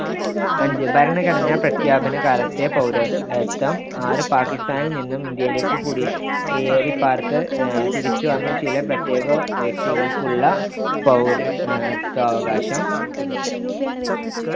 അഞ്ച് ഭരണഘടനാ പ്രഖ്യാപന കാലത്തെ പൗരത്വം ആറ് പാകിസ്താനിൽ നിന്നും ഇന്ത്യയിലേക്ക്‌ കുടിയേറിപ്പാർത്ത തിരിച്ചു വന്ന ചില പ്രത്യേക വ്യക്തികൾക്കുള്ള പൗര ഏർ ത്വാവകാശം